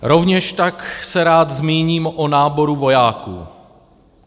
Rovněž tak se rád zmíním o náboru vojáků.